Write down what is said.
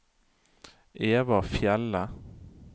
Eva Fjelde